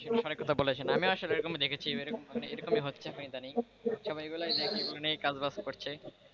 অনেক কথা বলেছেন আমি আসলে এরকম দেখেছি এরকমি হচ্ছে ইদানিং সবাই এগুলোই কাজবাজ করছে,